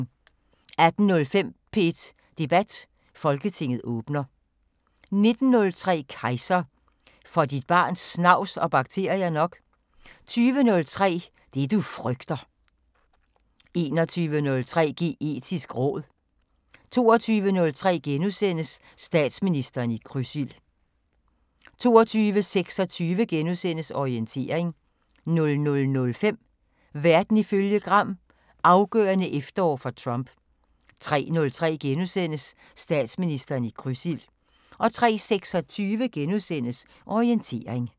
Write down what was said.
18:05: P1 Debat: Folketinget åbner 19:03: Kejser: Får dit barn snavs og bakterier nok? 20:03: Det du frygter 21:03: Geetisk råd 22:03: Statsministeren i krydsild * 22:26: Orientering * 00:05: Verden ifølge Gram: Afgørende efterår for Trump 03:03: Statsministeren i krydsild * 03:26: Orientering *